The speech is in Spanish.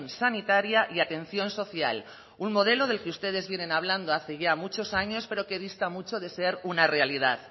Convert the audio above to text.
sanitaria y atención social un modelo del que ustedes vienen hablando hace ya muchos años pero que dista mucho de ser una realidad